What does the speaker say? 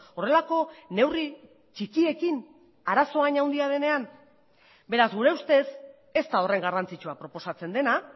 horrelako neurri txikiekin arazoa hain handia denean beraz gure ustez ez da horren garrantzitsua proposatzen dena